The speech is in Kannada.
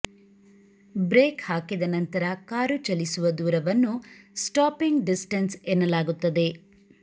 ಬ್ರೇಕ್ ಹಾಕಿದ ನಂತರ ಕಾರು ಚಲಿಸುವ ದೂರವನ್ನು ಸ್ಟಾಪಿಂಗ್ ಡಿಸ್ಟೆನ್ಸ್ ಎನ್ನಲಾಗುತ್ತದೆ